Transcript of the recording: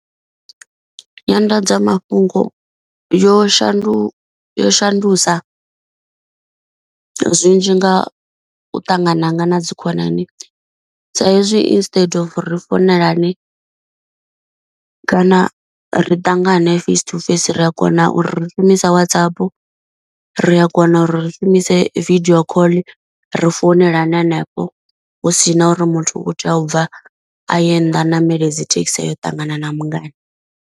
Nyanḓadzamafhungo yo shandu yo shandusa zwinzhi nga u ṱangana hanga na dzikhonani. Sa hezwi instead of ri founelane kana ri ṱangane face to face ri a kona uri ri shumise Whatsapp. Ri a kona uri ri shumise video call ri founelane hanefho. Hu si na uri muthu u kho tea u bva a ye nnḓa a ṋamele dzi thekhisi ya u ṱangana na mungana.